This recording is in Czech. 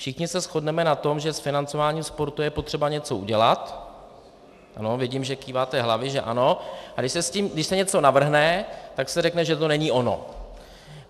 Všichni se shodneme na tom, že s financováním sportu je potřeba něco udělat, ano, vidím, že kýváte hlavami, že ano, a když se něco navrhne, tak se řekne, že to není ono.